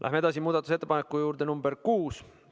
Läheme edasi muudatusettepaneku nr 6 juurde.